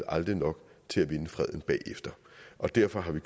aldrig nok til at vinde freden bagefter og derfor har vi